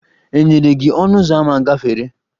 E nyere gị ọnụ ụzọ ámá gafere?